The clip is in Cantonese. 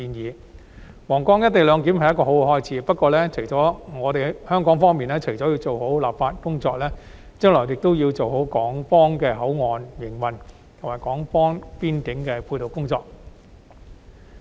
推展皇崗口岸"一地兩檢"是一個好開始，不過，香港方面除了要做好本地立法工作，將來亦要做好港方口岸區的營運，以及港方邊境的配套工作。